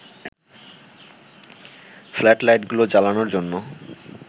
flood লাইটগুলো জ্বালানোর জন্য